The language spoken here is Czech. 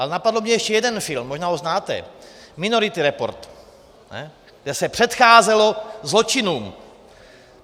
Ale napadl mě ještě jeden film, možná ho znáte - Minority Report, kde se předcházelo zločinům.